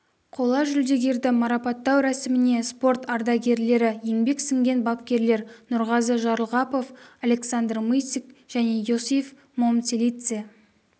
қола жүлдегерді марапаттау рәсіміне спорт ардагерлері еңбегі сіңген бапкерлер нұрғазы жарылғапов александр мыцик және иосиф момцелидзе